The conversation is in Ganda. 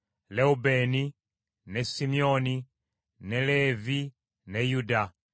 Lewubeeni, ne Simyoni, ne Leevi ne Yuda,